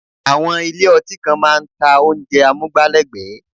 Àwọn ilé ọtí kan máa ń ta oúnjẹ amúgbálẹ́gbẹ̀ẹ́